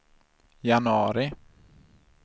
januari